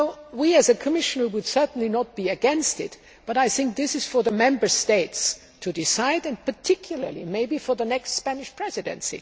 We, the Commission, would certainly not be against it, but I think this is for the Member States to decide and, in particular, maybe for the next Spanish Presidency.